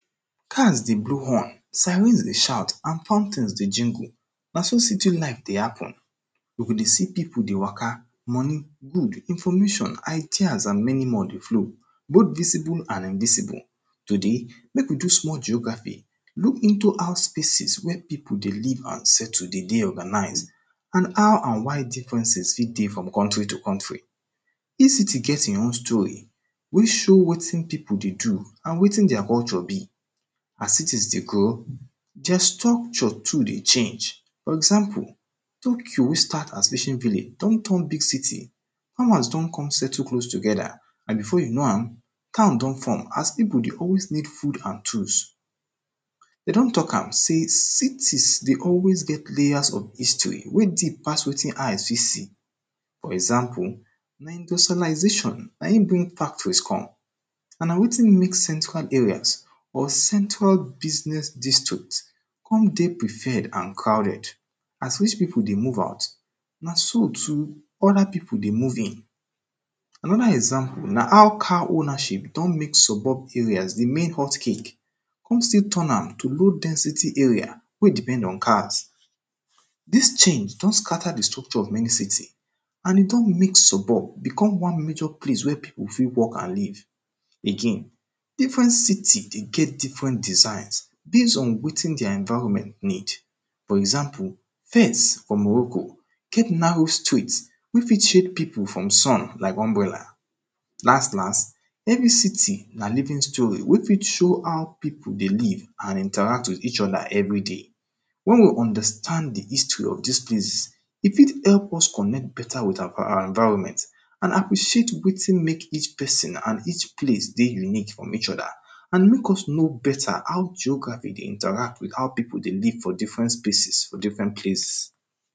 Cars dey blow horn, sirens dey shout and fountains dey jingle, na so city life dey happen. You go dey see people dey waka, money good, information, ideas and many more dey flow, both visible and invisible. Today, make we do small geography, look into how spaces where people dey live and settle de dey organize and how and why differences fit dey from country to country. Each city get him own story which show wetin people dey do and wetin their culture be. As cities dey grow, their structures too dey change. For example, Tokyo which start as fishing village don turn big city, powers don come settle close together and before you know am, town don form as people dey always need food and tools. Dey don talk am sey cities dey always get layers of history wey deep pass wetin eyes fit see. For example, na industrialization na him bring factories come and na wetin make central areas or central business district come dey preferred and crowded. As rich people dey move out, na so too other people de move in. Another example na how car ownership don make suburb areas de main hot cake, come still turn am to low density area wey depend on cars. Dis change don scatter de structure of many cities and e don make suburb, become one major place wey people fit work and live. Again, different cities dey get different designs based on wetin their environment need. For example, Fes for Morocco get narrow streets wey fit shade people from sun like umbrella. Las las, every city na living story wey fit show how people dey live and interact with each other every day. When we understand de history of dis place, e fit help us connect better with our environment and appreciate wetin make each person and each place dey unique from each other and make us know better how geography dey interact with how people dey live for different spaces for different place.